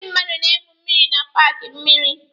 Ndị mmadụ na-egwu mmịrị na paaki mmịrị.